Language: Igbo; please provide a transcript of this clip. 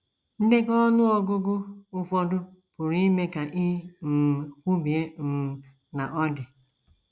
Ndekọ ọnụ ọgụgụ ụfọdụ pụrụ ime ka i um kwubie um na ọ dị.